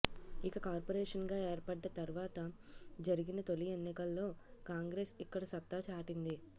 ఇక కార్పోరేషన్ గా ఏర్పడ్డ తర్వాత జరిగిన తొలి ఎన్నికల్లో కాంగ్రెస్ ఇక్కడ సత్తా చాటింది